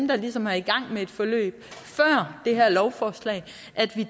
der ligesom er i gang med et forløb før det her lovforslag